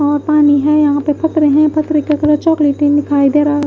यहाँ पानी है यहाँ पर कपड़े हैं कपड़े के अंदर चॉकलेट दिखाई दे रहा है।